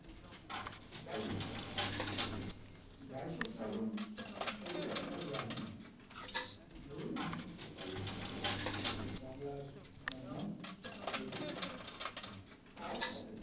বাইশে শ্রাবণ বাইশে শ্রাবণ ছবিটা আপনারা জানেন যে ঊনিশশো তেতাল্লিশ হচ্ছে বাংলার মর্মান্তিক দুর্ভিক্ষ তার পটভূমি